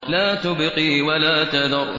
لَا تُبْقِي وَلَا تَذَرُ